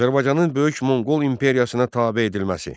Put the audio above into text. Azərbaycanın Böyük Monqol imperiyasına tabe edilməsi.